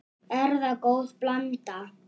Er það góð blanda.